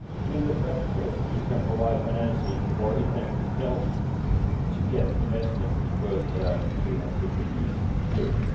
Europe. In the best case, it can provide financing or it can help to get investments worth EUR 315 billion